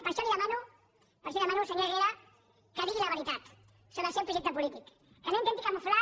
per això li demano senyor herrera que digui la veritat sobre el seu projecte polític que no intenti camuflar